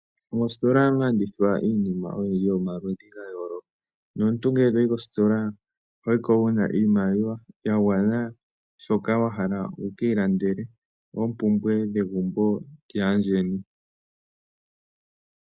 Mositola ohamu adhika iinima ya yooloka nomuntu ngele toyi mositolaho yiko wuna iimaliwa ya gwana nawa shoka wa hala wu kale lande oompumbwe dhegumbo lyaandjeni.